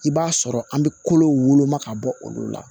I b'a sɔrɔ an bɛ kolo woloma ka bɔ olu la